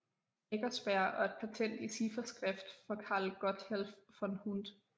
Eckersberg og et patent i cifferskrift for Karl Gotthelf von Hund